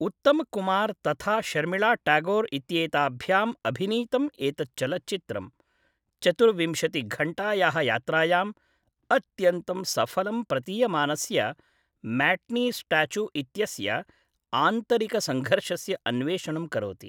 उत्तमकुमार् तथा शर्मिळा ट्यागोर् इत्येताभ्याम् अभिनीतम् एतत् चलच्चित्रं, चतुर्विंशतिघण्टायाः यात्रायां, अत्यन्तं सफलं प्रतीयमानस्य म्याटिनी स्टाच्यु इत्यस्य आन्तरिकसङ्घर्षस्य अन्वेषणं करोति।